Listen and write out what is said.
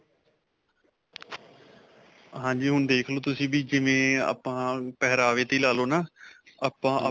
ਹਾਂਜੀ. ਹੁਣ ਦੇਖ ਲੋ ਤੁਸੀਂ ਵੀ, ਜਿਵੇਂ ਅਅ ਆਪਾਂ ਪਹਿਰਾਵੇ 'ਤੇ ਹੀ ਲਾ ਲੋ ਨਾ, ਆਪਾਂ